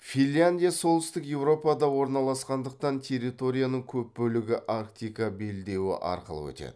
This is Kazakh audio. финляндия солтүстік еуропада орналасқандықтан территорияның көп бөлігі арктика белдеуі арқылы өтеді